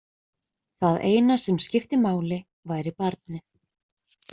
Það eina sem skipti máli væri barnið.